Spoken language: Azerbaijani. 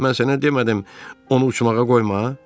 Mən sənə demədim onu uçmağa qoyma?